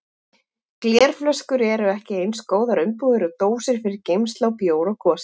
Glerflöskur eru ekki eins góðar umbúðir og dósir fyrir geymslu á bjór og gosi.